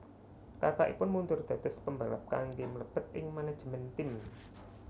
Kakakipun mundur dados pembalap kangge mlebet ing manajemen tim